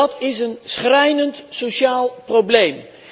Dat is een schrijnend sociaal probleem.